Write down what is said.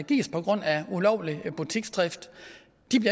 gives på grund af ulovlig butiksdrift